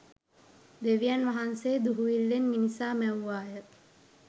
දෙවියන් වහන්සේ දුහුවිල්ලෙන් මිනිසා මැව්වාය